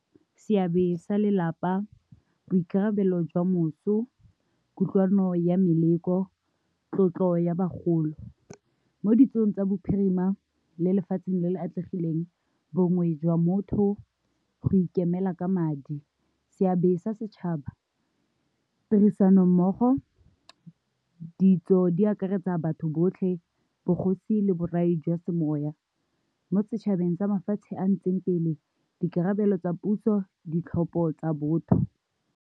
Seabe sa lelapa, boikarabelo jwa moso, kutlwano ya meleko, tlotlo ya bagolo. Mo ditsong tsa bophirima le lefatsheng le le atlegileng bongwe jwa motho go ikemela ka madi, seabe sa setšhaba tirisanommogo, ditso di akaretsa batho botlhe, bogosi le borai jwa semoya mo setšhabeng sa mafatshe a ntseng pele dikarabelo tsa puso, ditlhopho tsa botho.